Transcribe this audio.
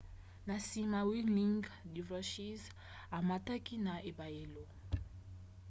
na nsima whirling dervishes amataki na ebayelo